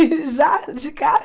Ih, já, de cara?